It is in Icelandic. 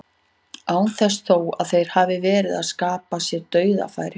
Án þess þó að þeir hafi verið að skapa sér dauðafæri.